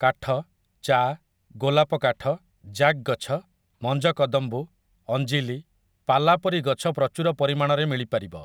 କାଠ, ଚା', ଗୋଲାପକାଠ, ଜ୍ୟାକ୍ ଗଛ, ମଞ୍ଜକଦମ୍ବୁ, ଅଞ୍ଜିଲି, ପାଲା ପରି ଗଛ ପ୍ରଚୁର ପରିମାଣରେ ମିଳିପାରିବ ।